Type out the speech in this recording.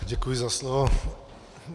Děkuji za slovo.